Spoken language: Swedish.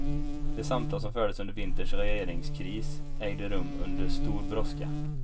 De samtal som fördes under vinterns regeringskris ägde rum under stor brådska.